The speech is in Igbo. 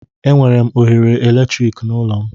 Enwere m oghere eletrik n'ụlọ.